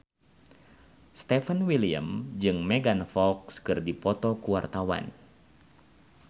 Stefan William jeung Megan Fox keur dipoto ku wartawan